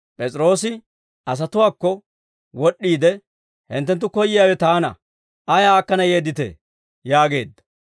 P'es'iroosi asatuwaakko wod'd'iide, «Hinttenttu koyyiyaawe taana. Ayaa akkana yeedditee?» yaageedda.